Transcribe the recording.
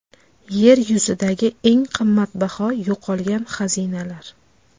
Yer yuzidagi eng qimmatbaho yo‘qolgan xazinalar.